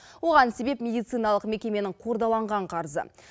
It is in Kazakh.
оған себеп медициналық мекеменің қордаланған қарызы